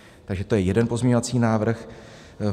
Takže to je jeden pozměňovací návrh.